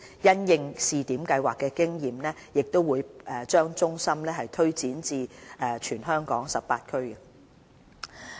因應試點計劃所得經驗，會把中心推展至全港18區。